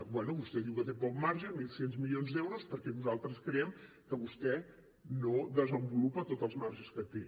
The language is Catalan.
bé vostè diu que té poc marge mil sis cents milions d’euros perquè nosaltres creiem que vostè no desenvolupa tots els marges que té